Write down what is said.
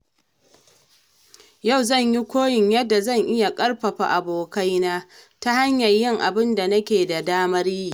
Yau zan koyi yadda zan iya ƙarfafa abokaina ta hanyar yin abinda nake da damar yi.